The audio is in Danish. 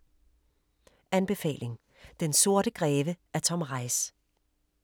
Anbefaling: Den sorte greve af Tom Reiss